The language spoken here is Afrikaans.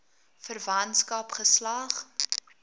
verwantskap geslag